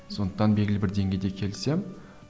сондықтан белгілі бір деңгейде келісемін